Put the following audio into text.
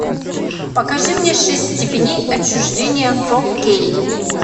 покажи мне шесть степеней отчуждения фор кей